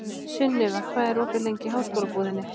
Sunniva, hvað er opið lengi í Háskólabúðinni?